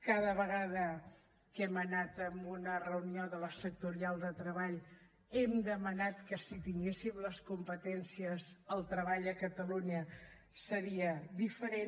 cada vegada que hem anat en una reunió de la sectorial de treball hem demanat que si tinguéssim les competències el treball a catalunya seria diferent